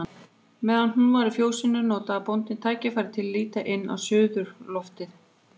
Meðan hún var í fjósinu notaði bóndinn tækifærið til að líta inn á suðurloftið.